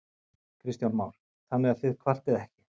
Kristján Már: Þannig að þið kvartið ekki?